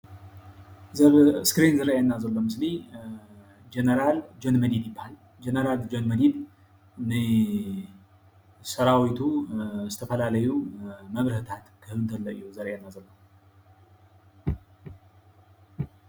እዚ ኣብ እስክሪን ዝርአየና ዘሎ ምስሊ ጀነራል ጆን መዲድ ይበሃል። ጀነራል ጆን መዲድ ንሰራዊቱ ዝተፈላለዩ መብርህታት ኽህብ እንተሎ እዩ ዘርእየና ዘሎ።